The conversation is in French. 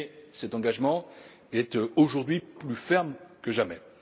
Cet engagement est aujourd'hui plus ferme que jamais.